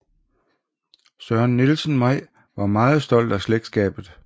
Søren Nielsen May var meget stolt af slægtskabet